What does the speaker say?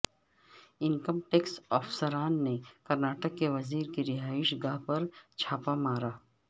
income tax افسران نے کرناٹک کے وزیر کی رہائش گاہ پر چھاپہ مارا